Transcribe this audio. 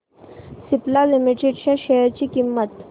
Cipla limited च्या share ची किंमत